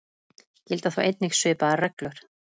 Gilda þá einnig svipaðar reglur.